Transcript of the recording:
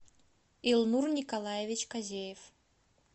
илнур николаевич козеев